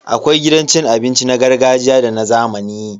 Akwai gidan abinci na gargajiya da na zamani.